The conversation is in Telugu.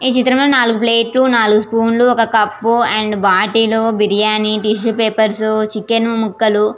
ఈ చిత్రం లో నాలుగు స్పూన్స్ లు నాలుగు ప్లేట్స్ లు ఒక కప్ ఉ bottle biryani tissue paper chicken మూకలు--